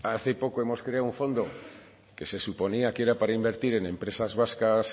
hace poco hemos creado un fondo que se suponía que era para invertir en empresas vascas